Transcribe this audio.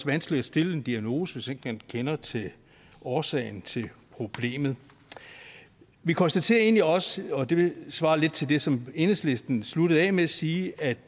vanskeligt at stille en diagnose hvis ikke man kender årsagen til problemet vi konstaterer egentlig også og det svarer lidt til det som enhedslisten sluttede af med at sige at